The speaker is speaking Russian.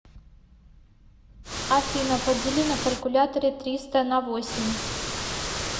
афина подели на калькуляторе триста на восемь